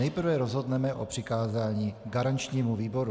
Nejprve rozhodneme o přikázání garančnímu výboru.